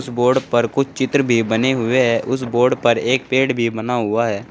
कुछ बोर्ड पर कुछ चित्र भी बने हुये है उस बोर्ड पर एक पेड़ भी बना हुआ है।